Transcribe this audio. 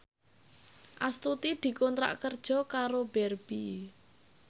Astuti dikontrak kerja karo Barbie